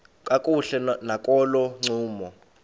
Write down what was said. kakuhle nakolo ncumo